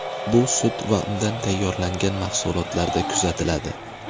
Bu sut va undan tayyorlangan mahsulotlarda kuzatiladi.